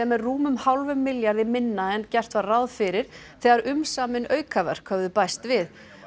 er rúmum hálfum milljarði minna en gert var ráð fyrir þegar umsamin aukaverk höfðu bæst við